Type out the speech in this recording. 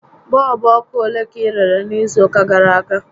Bọọlbụ ọkụ ole ka ị rere n'izu ụka gàrà aga?